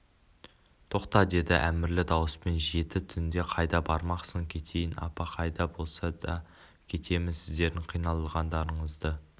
тоқта деді әмірлі дауыспен жеті түнде қайда бармақсың кетейін апа қайда болса да кетемін сіздердің қиналғандарыңызды